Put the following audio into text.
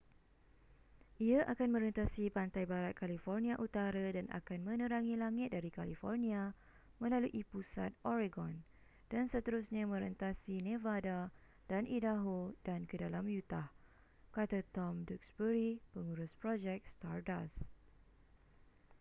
ia akan merentasi pantai barat california utara dan akan menerangi langit dari california melalui pusat oregon dan seterusnya merentasi nevada dan idaho dan ke dalam utah kata tom duxbury pengurus projek stardust